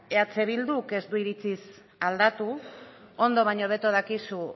eh bilduk ez du iritsiz aldatu ondo baino hobeto dakizu